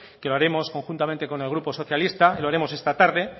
que lo haremos conjuntamente con el grupo socialista y lo haremos esta tarde